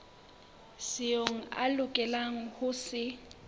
seo a lokelang ho se